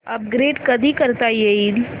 upgrade कधी करता येईल